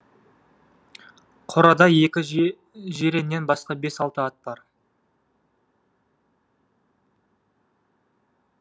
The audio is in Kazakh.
қорада екі жиреннен басқа бес алты ат бар